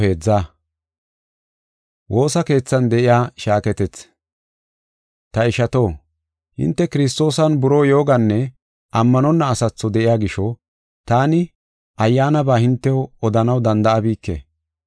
Ta ishato, hinte Kiristoosan buroo yooganne ammanonna asatho de7iya gisho, taani ayyaanaba hintew odanaw danda7abike.